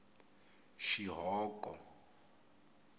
xihoko